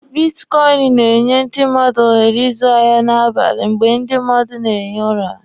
Bitkọịnị na-enye ndị mmadụ ohere ịzụ ahịa n'abali mgbe ndi mmadụ na-ehi ụra.